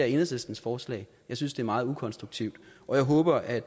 enhedslistens forslag jeg synes det er meget ukonstruktivt og jeg håber at